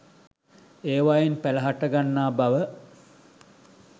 ඒවායින් පැල හටගන්නා බව